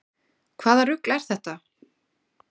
Hvaða rugl er þetta?